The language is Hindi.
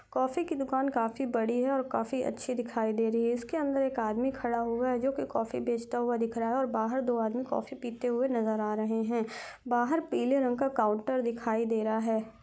कॉफ़ी की दुकान काफी बड़ी है और काफी अच्छी दिखाई दे रही है इसके अंदर एक आदमी खड़ा हुआ है जो की कॉफ़ी बेचता हुआ नजर आ रहा और बाहर दो आदमी कॉफ़ी पीते हुए नजर आ रहे हैं बाहर पीले रंग का काउंटर दिखाई दे रहा हैं।